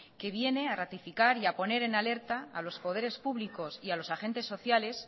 que viene a ratificar y a poner en alerta a los poderes públicos y a los agentes sociales